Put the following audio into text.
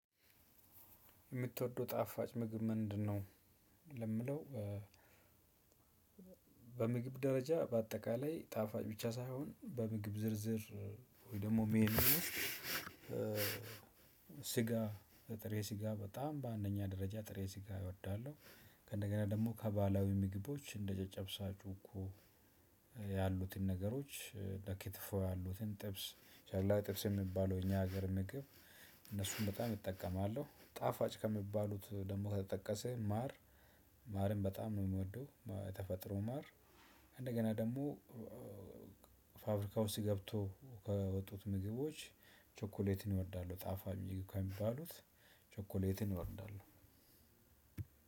የምትወደው ጣፋጭ ምግብ ምንድነው? ለምለው በምግብ ደረጃ በአጠቃላይ ጣፋጭ ብቻ ሳይሆን በምግብ ዝርዝር ወይ ደግሞ ሜኑ ስጋ ጥሬ ስጋ በጣም በአንደኛ ደረጃ ጥሬ ስጋ እወዳለሁ። ከእንደገና ደግሞ ከባህላዊ ምግቦች እንደ ጨጨብሳ ጩኮ ያሉትን ነገሮች እንደ ክትፎ ያሉትን ጥብስ ሻላ ጥብስ የሚባለው እኛ ሀገር ምግብ እነሱን በጣም እጠቀማለሁ ጣፋጭ ከሚባሉት ደግሞ ከተጠቀሰ ማር። ማርም በጣም ነው የምወደው የተፈጠረው ማር። እንደገና ደግሞ ፋብሪካ ውስጥ ገብቶ ከወጡት ምግቦች። ቸኮሌትን ይወዳሉ ጣፋጭ ምግብ ከሚባሉት ቸኮሌትን እወዳለሁ።